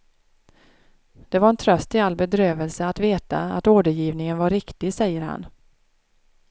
Det var en tröst i all bedrövelse att veta att ordergivningen var riktig, säger han.